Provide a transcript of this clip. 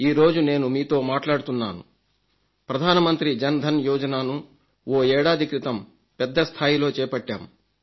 ఈరోజు నేను మీతో మాట్లాడుతున్నాను ప్రధానమంత్రి జన్ ధన్ యోజనను ఓ ఏడాది క్రితం పెద్ద స్థాయిలో చేపట్టాం